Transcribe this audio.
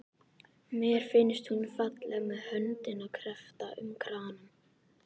Mér finnst hún falleg með höndina kreppta um kranann.